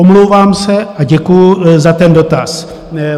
Omlouvám se a děkuji za ten dotaz.